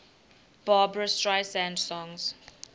barbra streisand songs